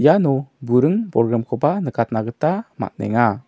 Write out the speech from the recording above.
iano buring bolgrimkoba nikatna gita man·enga.